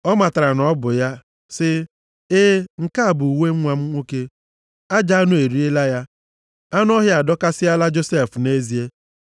Ọ matara na ọ bụ ya, sị, “E, nke a bụ uwe nwa m nwoke. Ajọ anụ eriela ya. Anụ ọhịa adọkasịala Josef nʼezie.”